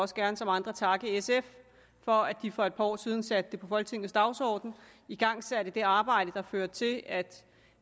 også gerne som andre takke sf for at de for et par år siden satte det på folketingets dagsorden igangsætte det arbejde der førte til at